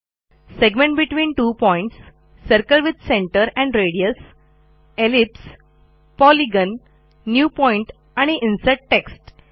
segment between two points circle with centre and radius ellipse polygon new point आणि insert text